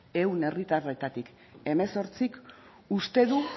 ehun herritarretatik hemezortzik uste du